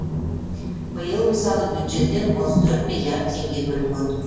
биыл мысалы бюджеттен отыз төрт миллиард теңге бөлінген